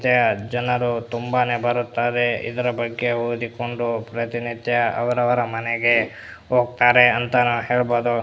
ಜನರು ತುಂಬಾನೇ ಬರುತ್ತಾರೆ ಇದರ ಬಗ್ಗೆ ಓದಿಕೊಂಡು ಪ್ರತಿನಿತ್ಯ ಅವರವರ ಮನೆಗೆ ಹೋಗುತ್ತಾರೆ ಅಂತ ಹೇಳಬಹುದು --